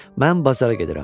Mən bazara gedirəm.